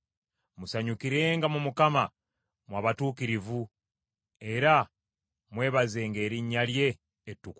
Musanyukirenga mu Mukama mmwe abatuukirivu, era mwebazenga erinnya lye ettukuvu.